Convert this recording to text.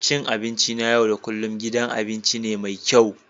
Cin abinci na yau da kullun gidan abinci ne mai kyau